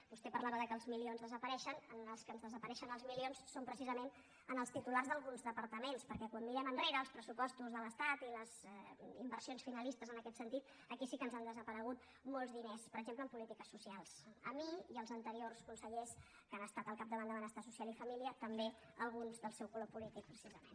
vostè parlava que els milions desapareixen a qui desapareixen els milions som precisament els titulars d’alguns departaments perquè quan mirem enrere als pressupostos de l’estat i les inversions finalistes en aquest sentit aquí sí que ens han desaparegut molts diners per exemple en polítiques socials a mi i als anteriors consellers que han estat al capdavant de benestar social i família també alguns del seu color polític precisament